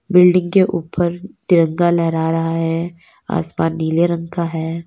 Building के ऊपर तिरंगा लहरा रहा है आसमान नीले रंग का है।